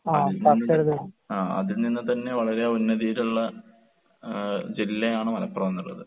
അതിൽ നിന്ന് ആഹ് അതിൽ നിന്ന് തന്നെ വളരെ ഉന്നതിയിലുള്ള ഏഹ് ജില്ലയാണ് മലപ്പുറം എന്നുള്ളത്.